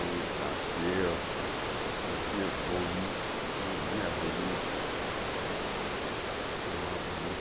Ele nasceu, nasceu bonito, vinha bonito, foi mais